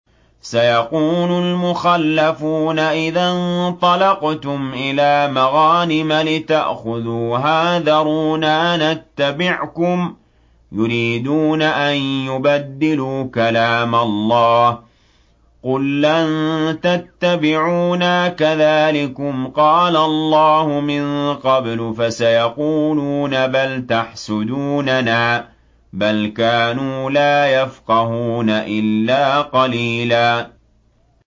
سَيَقُولُ الْمُخَلَّفُونَ إِذَا انطَلَقْتُمْ إِلَىٰ مَغَانِمَ لِتَأْخُذُوهَا ذَرُونَا نَتَّبِعْكُمْ ۖ يُرِيدُونَ أَن يُبَدِّلُوا كَلَامَ اللَّهِ ۚ قُل لَّن تَتَّبِعُونَا كَذَٰلِكُمْ قَالَ اللَّهُ مِن قَبْلُ ۖ فَسَيَقُولُونَ بَلْ تَحْسُدُونَنَا ۚ بَلْ كَانُوا لَا يَفْقَهُونَ إِلَّا قَلِيلًا